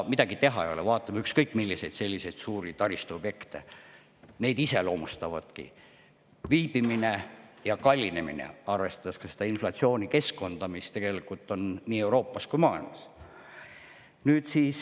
Midagi teha ei ole, vaatame ükskõik milliseid suuri taristuobjekte, neid iseloomustavadki viibimine ja kallinemine, arvestades ka seda inflatsioonikeskkonda, mis on nii Euroopas kui ka mujal maailmas.